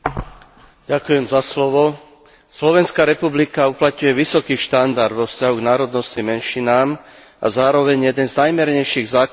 Slovenská republika uplatňuje vysoký štandard vo vzťahu k národnostným menšinám a zároveň jeden z najmiernejších zákonov o štátnom jazyku v Európe.